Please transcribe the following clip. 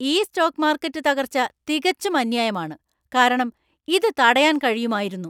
ഈ stock market തകർച്ച തികച്ചും അന്യായമാണ്, കാരണം ഇത് തടയാൻ കഴിയുമായിരുന്നു.